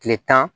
Kile tan